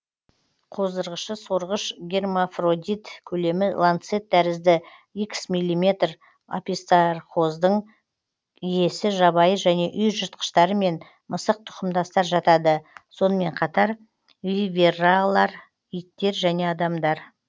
қоздырғышы сорғыш гермафродит көлемі ланцет тәрізді х миллиметр описторхоздың иесі жабайы және үй жыртқыштарымен мысық тұқымдастар жатады сонымен қатар виверралар иттер және адамдар